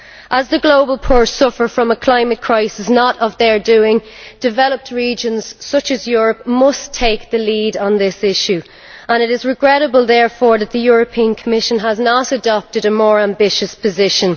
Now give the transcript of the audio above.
As the global poor suffer from a climate crisis not of their doing, developed regions such as Europe must take the lead on this issue and it is regrettable, therefore, that the European Commission has not adopted a more ambitious position.